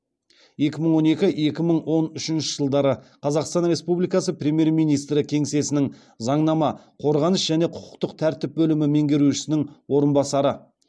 екі мың он екі екі мың он үшінші жылдары қазақстан республикасы премьер министрі кеңсесінің заңнама қорғаныс және құқықтық тәртіп бөлімі меңгерушісінің орынбасары